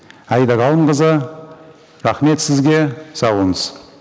аида ғалымқызы рахмет сізге сау болыңыз